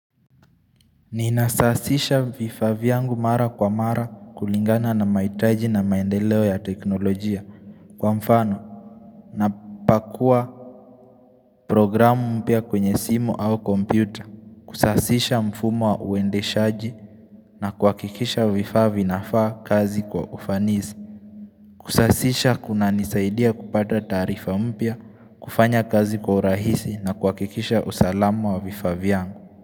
Ninasasisha vifaa vyangu mara kwa mara kulingana na mahitaji na maendeleo ya teknolojia. Kwa mfano napakua programu mpya kwenye simu au kompyuta kusasisha mfumo wa uendeshaji na kuhakikisha vifaa vinafaa kazi kwa ufanisi Kusasisha kunanisaidia kupata taarifa mpya, kufanya kazi kwa urahisi na kuhakikisha usalama wa vifaa vyangu.